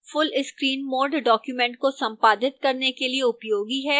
full screen mode documents को संपादित करने के लिए उपयोगी है